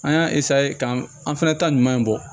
An y'a k'an fɛnɛ ta ɲuman in bɔ